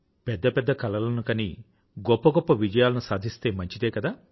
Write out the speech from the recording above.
పెద్ద పెద్ద కలలను కని గొప్ప గొప్ప విజయాలను సాధిస్తే మంచిదే కదా